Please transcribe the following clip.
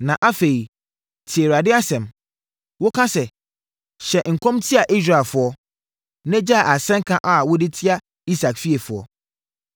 Na afei, tie Awurade asɛm. Woka sɛ, “ ‘Nhyɛ nkɔm ntia Israelfoɔ, na gyae asɛnka a wode tia Isak fiefoɔ.’